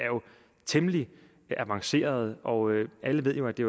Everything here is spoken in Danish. temmelig avancerede og alle ved jo at det